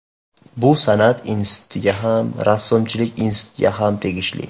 Bu San’at institutiga ham, Rassomchilik institutiga ham tegishli.